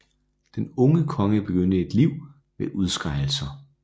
Den unge konge begyndte et liv med udskejelser